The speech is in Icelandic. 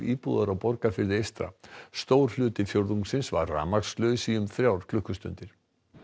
íbúðar á Borgarfirði eystra stór hluti fjórðungsins var rafmagnslaus í um þrjár klukkustundir